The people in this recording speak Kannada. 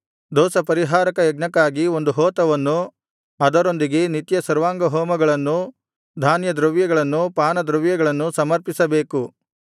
ದೋಷಪರಿಹಾರಕ ಯಜ್ಞಕ್ಕಾಗಿ ಒಂದು ಹೋತವನ್ನೂ ಅದರೊಂದಿಗೆ ನಿತ್ಯ ಸರ್ವಾಂಗಹೋಮಗಳನ್ನೂ ಧಾನ್ಯದ್ರವ್ಯಗಳನ್ನೂ ಪಾನದ್ರವ್ಯಗಳನ್ನೂ ಸಮರ್ಪಿಸಬೇಕು